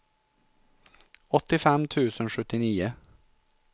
åttiofem tusen sjuttionio